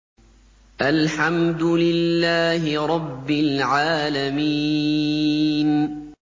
الْحَمْدُ لِلَّهِ رَبِّ الْعَالَمِينَ